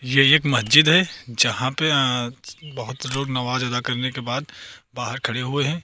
यह एक मस्जिद है यहां पे अह बहुत लोग नवाज अदा करने के बाद बाहर खड़े हुए हैं।